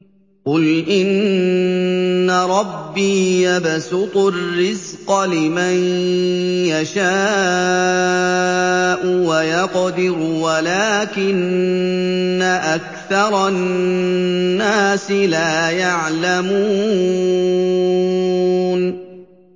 قُلْ إِنَّ رَبِّي يَبْسُطُ الرِّزْقَ لِمَن يَشَاءُ وَيَقْدِرُ وَلَٰكِنَّ أَكْثَرَ النَّاسِ لَا يَعْلَمُونَ